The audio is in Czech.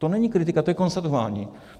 To není kritika, to je konstatování.